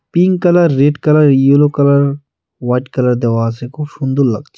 Pink colour red colour yellow colour white colour দেওয়া আছে খুব সুন্দর লাগছে।